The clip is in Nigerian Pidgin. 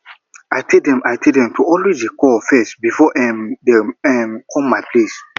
i tell dem i tell dem to always dey call first before um dem come um my place